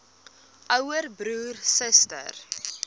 ouer broer suster